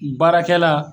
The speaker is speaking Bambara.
Baarakɛla